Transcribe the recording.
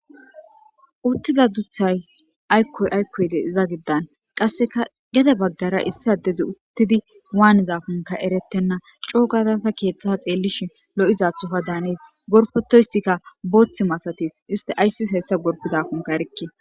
Uttida duthay aykkoy aykkoyde iza giddan qasseka gede baggara issi addezi uttidi waanizafunka erettenna coo gatata keeththa xeellishin lo'izaththofa daanis gorfetoyssikka booththi masatis iste ayssis hessa gorbidafunka erikke